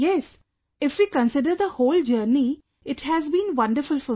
Yes, if we consider the whole journey, it has been wonderful for me